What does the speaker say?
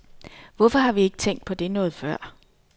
Hvorfor har vi ikke tænkt på det noget før?